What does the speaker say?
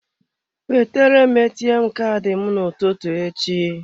Wetere m ATM Kaadị m n'ụtụtụ echi.